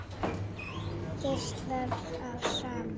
Geislar af samúð.